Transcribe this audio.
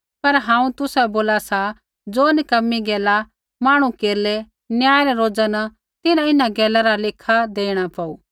पर हांऊँ तुसाबै बोला सा ज़ो नक्कमी गैला मांहणु केरलै न्याय रै रोज़ा न तिन्हां इन्हां गैला रा लेखा देणा पौऊ